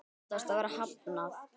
Þau óttast að vera hafnað.